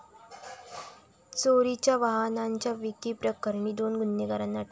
चोरीच्या वाहनांच्या विक्रीप्रकरणी दोन गुन्हेगारांना अटक